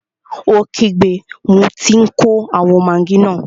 Ó kígbe, mo tí n kó àwọn magí náà!